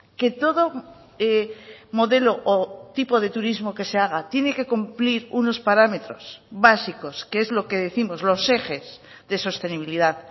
que todo modelo o tipo de turismo que se haga tiene que cumplir unos parámetros básicos que es lo que décimos los ejes de sostenibilidad